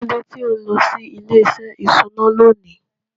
Kín ló dé tí ò ń lọ sí ilé-iṣẹ́ ìṣúná lónìí?